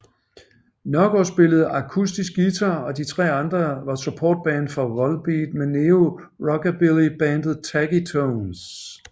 Nørgaard spillede akustisk guitar og de tre andre var supportband for Volbeat med Neo Rockabilly bandet Taggy Tones